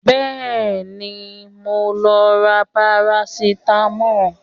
Bẹ́ẹ̀ni, mò ń lọ ra parasitamọ́ọ̀